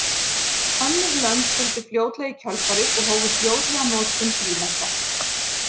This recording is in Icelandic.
Önnur lönd fylgdu fljótlega í kjölfarið og hófu fljótlega notkun frímerkja.